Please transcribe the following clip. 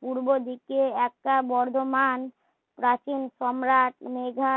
পূর্ব দিকে একটা বর্ধমান প্রাচীন সম্রাট মেঘা